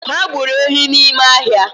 Ha gburu ehi n’ime ahia